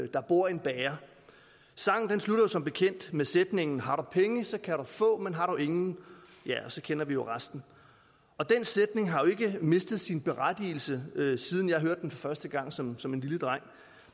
der bor en bager sangen slutter som bekendt med sætningen har du penge så kan du få men har du ingen ja så kender vi jo resten den sætning har jo ikke mistet sin berettigelse siden jeg hørte den første gang som som en lille dreng